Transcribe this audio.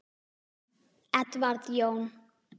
Edward Jón.